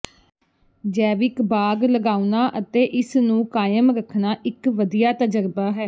ਜੈਵਿਕ ਬਾਗ ਲਗਾਉਣਾ ਅਤੇ ਇਸ ਨੂੰ ਕਾਇਮ ਰੱਖਣਾ ਇਕ ਵਧੀਆ ਤਜਰਬਾ ਹੈ